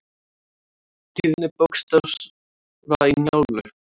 Tíðni bókstafa í Njálu.